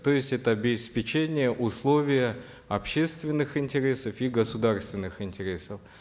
то есть это обеспечение условия общественных интересов и государственных интересов